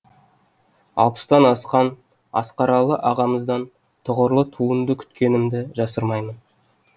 алпыстан асқан асқаралы ағамыздан тұғырлы туынды күткенімді жасырмаймын